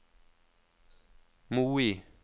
Moi